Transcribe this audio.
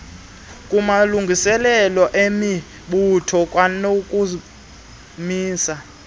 kumalungiselelo emibutho kwanokumisa